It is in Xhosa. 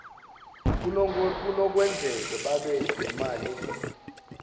kunokwenzeka babe nemali